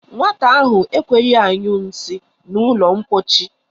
Nwata ahụ enweghị añyu nsị na ụlọ ḿkpóchí